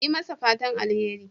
Yi masa fatan alheri.